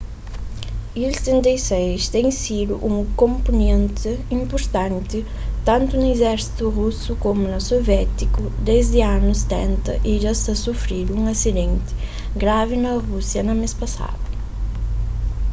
il-76 ten sidu un konponenti inpurtanti tantu na izérsitu rusu komu na soviétiku desdi anus 70 y dja tinha sufridu un asidenti gravi na rúsia na mês pasadu